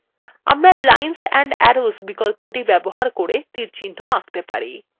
আমরা lines and arrows বিকল্পটি ব্যবহার করে তীরচিহ্ন আঁকতে পারি